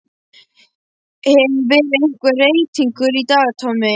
Hefur verið einhver reytingur í dag Tommi?